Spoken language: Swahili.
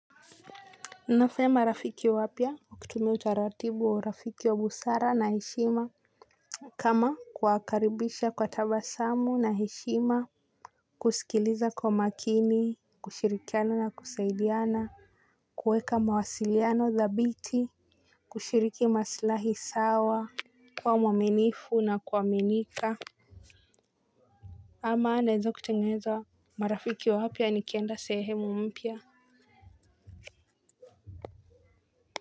Nafanya rafiki wapya kwa kutumia utaratibu wa urafiki wa busara na heshima. Kama kuwakaribisha kwa tabasamu na heshima kusikiliza kwa makini, kushirikiana na kusaidiana kuweka mawasiliano dhabiti, kushiriki maslahi sawa, kuwa mwaminifu na kuaminika. Ama naweza kutengeza marafiki wapya nikienda sehemu mpya.